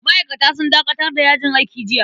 Ma'aikata sun dakatar da yajin aiki jiya.